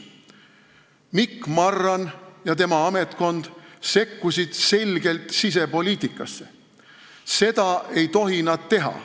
Mikk Marran ja tema ametkond sekkusid selgelt sisepoliitikasse, nad ei tohi seda teha.